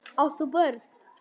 Átt þú börn?